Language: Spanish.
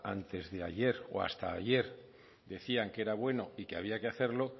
antes de ayer o hasta ayer decían que era bueno y que había que hacerlo